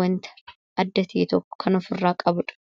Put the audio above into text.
wanta adda ta'e tokko kan ofirraa qabudha.